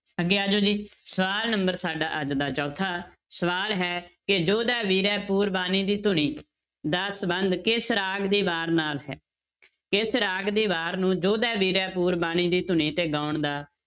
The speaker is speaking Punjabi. ਅੱਗੇ ਆ ਜਾਓ ਜੀ ਸਵਾਲ number ਸਾਡਾ ਅੱਜ ਦਾ ਚੌਥਾ ਸਵਾਲ ਹੈ ਕਿ ਜੋਧੇ ਵੀਰੇ ਪੂਰਬਾਣੀ ਦੀ ਧੁਨੀ ਦਾ ਸੰਬੰਧ ਕਿਸ ਰਾਗ ਦੀ ਵਾਰ ਨਾਲ ਹੈ ਕਿਸ ਰਾਗ ਦੀ ਵਾਰ ਨੂੰ ਜੋਧੇ ਵੀਰੇ ਪੂਰਬਾਣੀ ਦੀ ਧੁਨੀ ਤੇ ਗਾਉਣ ਦਾ